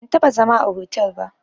Ban taɓa zama a hotel ba